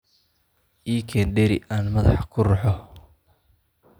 ii keen dheri aan madaxa ku ruxo.